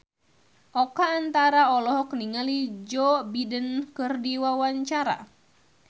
Oka Antara olohok ningali Joe Biden keur diwawancara